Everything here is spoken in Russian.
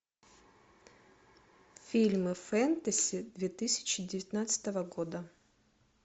фильмы фэнтези две тысячи девятнадцатого года